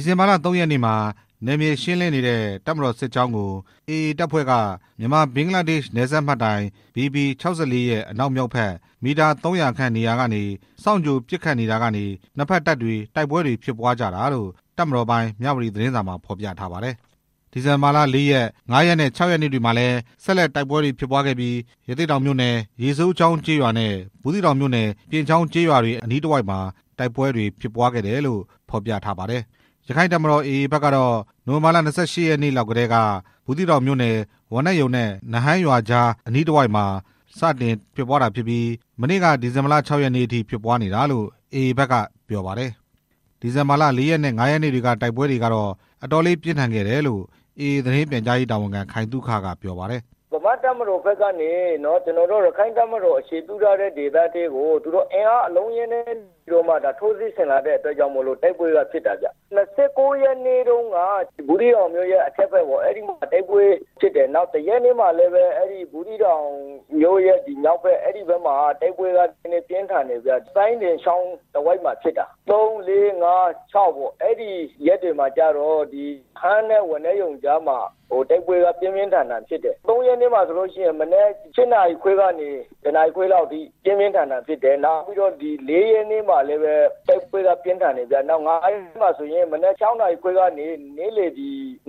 ီဇင်ဘာလ ၃ ရက်နေ့မှာ နယ်မြေရှင်းလင်းနေတဲ့ တပ်မတော်စစ်ကြောင်းကို AA တပ်ဖွဲ့က မြန်မာ-ဘင်္ဂလားဒေ့ရှ် နယ်စပ်မှတ်တိုင် ဘီပီ - ၆၄ ရဲ့ အနောက်မြောက်ဘက် မီတာ ၃၀၀ ခန့်နေရာကနေ စောင့်ကြိုပစ်ခတ်တာကနေ နှစ်ဖက်တပ်တွေ တိုက်ပွဲတွေဖြစ်ပွားကြတာလို့ တပ်မတော်ပိုင် မြဝတီ သတင်းစာမှာ ဖော်ပြထားပါတယ်။ ဒီဇင်ဘာလ ၄ ရက်နဲ့ ၅ ရက်နဲ့ ၆ ရက်နေ့တွေမှာလည်း ဆက်လက်တိုက်ပွဲတွေဖြစ်ပွားခဲ့ပြီး ရသေ့တောင်မြို့နယ် ရေစိုးချောင်းရွာအနီးနဲ့ ဘူးသီးတောင်မြို့နယ် ပြင်ချောင်းကျေးရွာတွေအနီးမှာ တိုက်ပွဲတွေဖြစ်ပွားခဲ့တယ်လို့ ဖော်ပြထားပါတယ်။ ရက္ခိုင့်တပ်မတော် AA ဖက်ကတော့ နိုဝင်ဘာလ ၂၈ ရက်နေ့လောက်ကတည်းက ဘူးသီးတောင်မြို့နယ် ဝါးနက်ရုံနဲ့ နဟန်းရွာအကြားမှာ စတင်ဖြစ်ပွားတာဖြစ်ပြီး မနေ့က ဒီဇင်ဘာလ ၆ ရက်နေ့အထိ ဖြစ်ပွားနေတာလို့ AA ဖက်က ပြောပါတယ်။ ဒီဇင်ဘာလ ၄ ရက်နဲ့ ၅ ရက်နေ့တွေက တိုက်ပွဲတွေကတော့ ပြင်းထန်ခဲ့တယ်လို့ AA သတင်းပြန်ကြားရေးတာဝန်ခံ ခိုင်သုခက ပြောပါတယ်။ "ဗမာ့တပ်မတော်ကနေ ကျနော်တို့ ရက္ခိုင့့််တပ်မတော် အခြေပြုထားတဲ့ဒေသကို အင်အားအလုံးအရင်းနဲ့ဝင် လာပြီး ထိုးစစ်ဆင်လာတဲ့အတွက်ကြောင့် တိုက်ပွဲဖြစ်တာဗျ၊ ၂၉ ရက်နေ့တုန်းက ဘူးသီးတောင်မြို့ရဲ့ အထက်ဘက်မှာ တိုက်ပွဲဖြစ်တယ်၊ နောက် ၁ ရက်နေ့မှာ ဘူးသီးတောင်မြို့ရဲ့မြောက်ဘက် စိုင်းပြင်ချောင်း တဝိုက်မှာ တိုက်ပွဲကပြင်းထန်တယ်၊ ၃ ၄ ၅ ၆ အဲဒီရက်တွေမှာ နဟန်းနဲ့ ဝါးနက်ရုံကြားမှာ တိုက်ပွဲက ပြင်းပြင်းထန်ထန်ဖြစ်တယ် ၃ ရက်နေ့မှာဆိုရင် မနက် ၈ နာရီခွဲကနေ နေ့လယ် ၁ နာရီခွဲလောက်အထိဖြစ်တယ၊် နောက် ၄ ရက်နေ့မှာလည်းဖြစ်တယ်၊ ၅ ရက်နေ့မှာလည်း မနက် ၆ နာရီ ကနေ နေ့လယ်